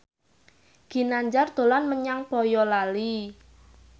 Ginanjar dolan menyang Boyolali